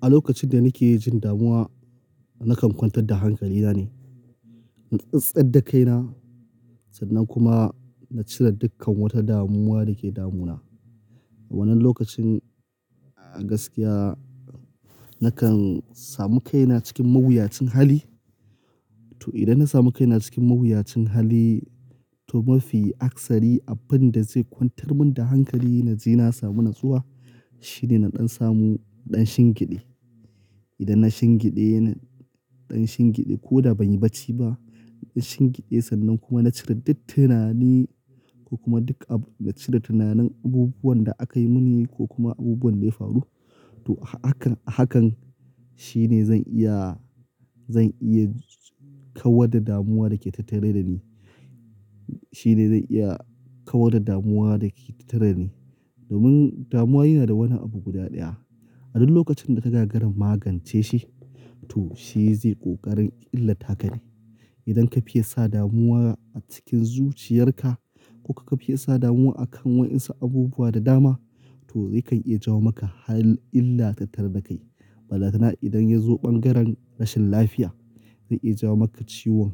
A lokacin da nake jin damuwa na kan kwantar da hankalina ne, na tsattsar da kaina sannan kuma na cire dukkan wata damuwa da ke damuna. A wannan lokacin a gaskiya na kan samu kaina cikin mawuyacin hali. To idan na samu kaina cikin mawuyacin hali to mafi aksari abin da zai kwantar min da hankali na ji na samu natsuwa shine na ɗan samu ɗan shingiɗe. Idan na shingiɗe, na ɗan shingiɗe ko da ban yi bacci ba. Na shingiɗe sannan kuma na cire duk tunani ko kuma dukkan na cire tunanin abubuwan da aka yi mini ko kuma abubuwan da ya faru. To hakan, hakan shine zan iya, zan iya kawar da damuwa da ke tattare da ni. Shi ne zan iya kawar da damuwa da ke tattare da ni. Domin damuwa yana da wani abu guda ɗaya. A duk lokacin da ka gagara magance shi to shi zai ƙoƙarin illata ka ne. Idan ka fiye sa damuwa a cikin zuciyar ka ko ka fiye sa damuwa a kan waƴansu abubuwa da dama to ya kan iya jawo maka har illa tattare da kai. Ballatana idan ya zo ɓangaren rashin lafiya zai iya jawo maka ciwon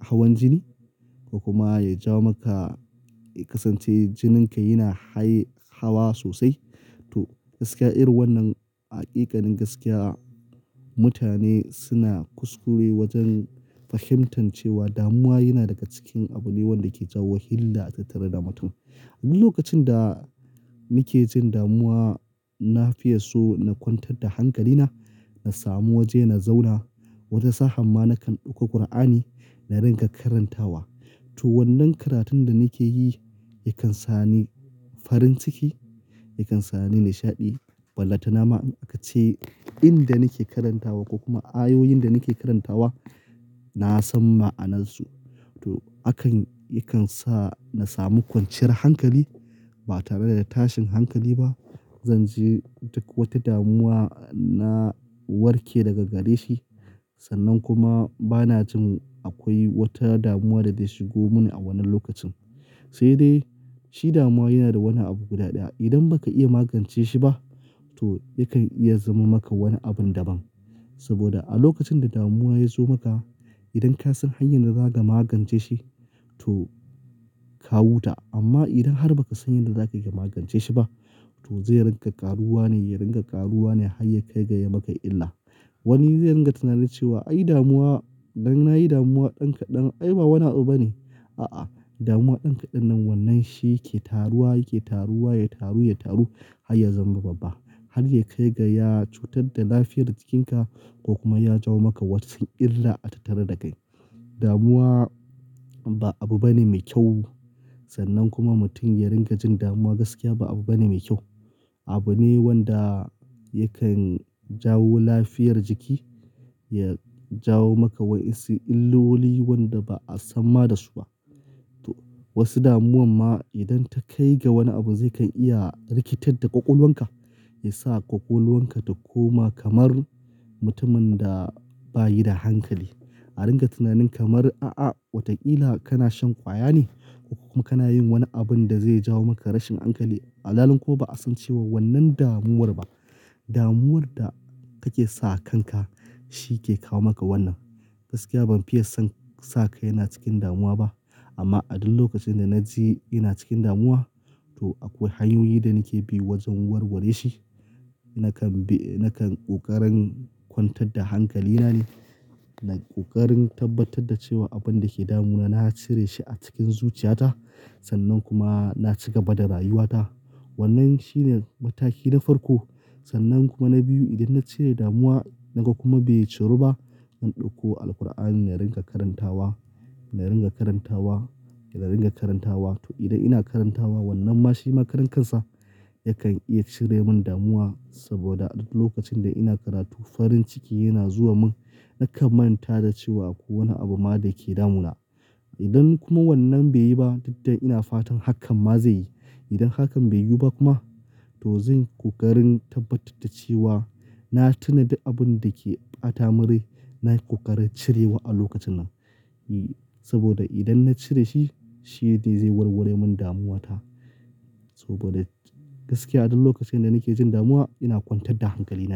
hawan jini ko kuma ya jawo maka ya kasance jininka yana haye, hawa sosai. To gaskiya irin wannan haƙiƙanin gaskiya mutane suna kuskure wajen fahimtan cewa damuwa yana daga cikin abu ne wanda ke jawo hilla a tattare da mutum. A duk lokacin da nake jin damuwa na fiye so na kwantar da hankalina, na samu waje na zauna, wata sa'a ma na kan ɗauko Kur'ani na ringa karantawa. To wannan karatun da nake yi yakan sa ni farin ciki, yakan sa ni nishaɗi ballantana ma in a ka ce inda nake karantawa ko kuma ayoyin da nake karantawa na san ma'anarsu. To hakan yakan sa na samu kwanciyar hankali ba tare da tashin hankali ba. Zan ji duk wata damuwa na warke daga gare shi sannan kuma bana jin akwai wata damuwa da zai shigo mini a wannan lokacin. Sai dai shi damuwa yana da wani abu guda ɗaya. Idan ba ka iya magance shi ba to yakan iya zama maka wani abin daban. Saboda a lokacin da damuwa ya zo maka idan ka san hanyar da za ka magance shi to ka huta. Amma idan har ba ka san yadda za ka yi ka magance shi ba to zai ringa ƙaruwa ne, ya ringa ƙaruwa ne har ya kai ga ya maka illa. Wani zai ringa tunanin cewa ai damuwa, idan na yi damuwa ɗan kaɗan ai ba wani abu bane. A'a, damuwa ɗin kaɗan nan wannan shi yake taruwa, yake taruwa, ya taru, ya taru har ya zama babba har ya kai ga ya cutar da lafiyar jikin ka ko kuma ya jawo maka wasu illa a tattare da kai. Damuwa ba abu bane mai kyau sannan kuma mutum ya ringa jin damuwa gaskiya ba abu bane mai kyau. Abu ne wanda yakan jawo lafiyar jiki, ya jawo maka wasu illoli wanda ba a san ma da su ba. To wasu damuwa ma idan ta kai ga wani abu zai kan iya rikitar da ƙwaƙwalwar ka, ya sa ƙwaƙwalwar ka ta koma kamar mutumin da bayi da hankali. A ringa tunanin kamar a'a wataƙila kana shan ƙwaya ne ko kuma kana yin wani abun da zai jawo maka rashin hankali. Alhalin kuma ba a san cewa wannan damuwar ba, damuwar da kake sa kan ka shi ke kawo maka wannan. Gaskiya ban fiye son sa kai na cikin damuwa ba. Amma a duk lokacin da na ji ina cikin damuwa to akwai hanyoyi da nake bi wajen warware shi. Na kan bi, na kan ƙoƙarin kwantar da hankali na ne, na ƙoƙarin tabbatar da cewa abun da ke damuna na cire shi a cikin zuciya ta sannan kuma na ci gaba da rayuwa ta. Wannan shi ne mataki na farko sannan kuma na biyu idan na cire damuwa naga kuma bai ciru ba zan ɗauko Alqur'ani na ringa karantawa, na ringa karantawa, na ringa karantawa. To idan ina karantawa wannan ma shi ma karan kan sa ya kan iya cire min damuwa saboda a duk lokacin da ina karatu farin ciki yana zuwa min. Na kan manta da cewa akwai wani abu ma da yake damuna. Idan kuma wannan bai yi ba duk da dai ina fatan hakan ma zai yi. Idan hakan bai yiwu ba kuma to zan ƙoƙarin tabbatar da cewa na tuna dukkan abun da ke ɓata mun rai na yi ƙoƙarin cirewa a lokacin nan. Saboda idan na cire shi shi ne zai warware min damuwa ta. Saboda gaskiya a duk lokacin da nake jin damuwa ina kwantar da hankalina ne.